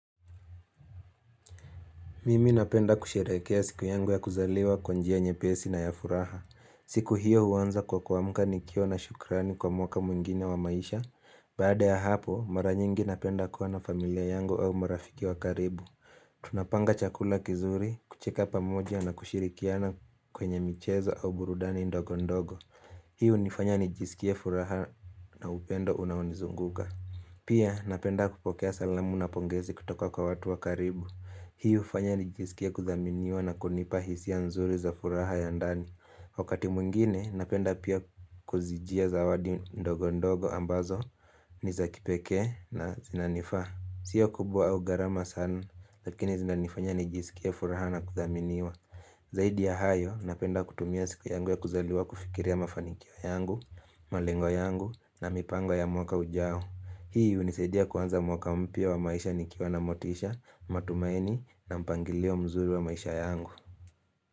Mimi napenda kusherehekea siku yangu ya kuzaliwa kwanjia nyepesi na ya furaha. Siku hiyo huanza kwa kuamka nikiwa na shukrani kwa mwaka mwingine wa maisha. Baada ya hapo, mara nyingi napenda kuwa na familia yangu au marafiki wa karibu. Tunapanga chakula kizuri, kucheka pamoja na kushirikiana kwenye michezo au burudani ndogo ndogo Hii hunifanya nijisikie furaha na upendo unaonizunguka Pia napenda kupokea salamu na pongezi kutoka kwa watu wa karibu Hii hufanya nijisikie kuthaminiwa na kunipa hisia nzuri za furaha ya ndani Wakati mwingine napenda pia kuzijia zawadi ndogo ndogo ambazo nizakipekee na zinanifaa siyo kubwa au gharama sana, lakini zinanifanya nijisikie furaha na kuthaminiwa Zaidi ya hayo, napenda kutumia siku yangu ya kuzaliwa kufikiria mafanikio yangu, malengo yangu na mipango ya mwaka ujao Hii unisaidia kuanza mwaka mpya wa maisha nikiwa na motisha, matumaini na mpangilio mzuri wa maisha yangu.